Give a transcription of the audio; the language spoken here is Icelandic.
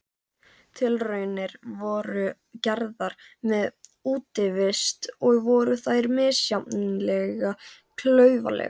Tilraunir voru gerðar með útivist og voru þær misjafnlega klaufalegar.